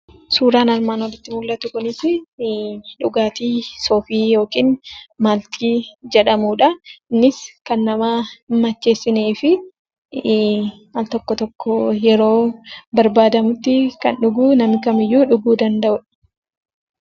Suuraan armaan olitti mul'atu kunis, dhugaatii soofii yookiin maaltii jedhamuudha. kunis kan nama hin macheessineedha. Al-tokko tokko yeroo barbaadamutti kan dhuguu namni kamiyyuu dhuguu danda'a.